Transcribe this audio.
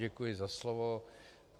Děkuji za slovo.